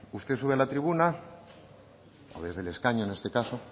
usted sube a la tribuna o desde el escaño en este caso